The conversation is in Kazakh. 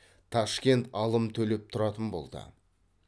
ташкент алым төлеп тұратын болды